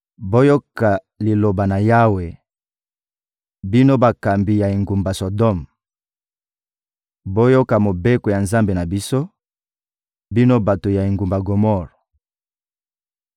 Boyoka Liloba na Yawe, bino bakambi ya engumba Sodome! Boyoka mobeko ya Nzambe na biso, bino bato ya engumba Gomore!